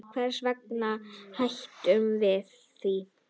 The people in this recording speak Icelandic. Hvers vegna hættum við því?